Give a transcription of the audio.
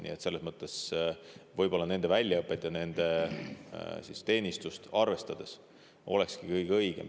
Nii et selles mõttes võib-olla olekski nende väljaõpet ja teenistust arvestades kõige õigem valik Kaitseliit.